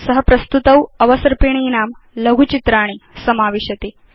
स प्रस्तुतौ अवसर्पिणीनां लघुचित्राणि समाविशति